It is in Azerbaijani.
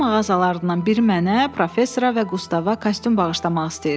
“Geyim mağazalarından biri mənə, professora və Qustava kostyum bağışlamaq istəyir.